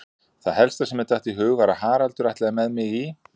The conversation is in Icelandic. Það helsta sem mér datt í hug var að Haraldur ætlaði með mig í